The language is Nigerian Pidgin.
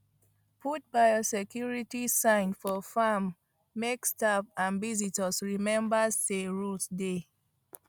put biosecurity sign for farm make staff and visitors remember say rules dey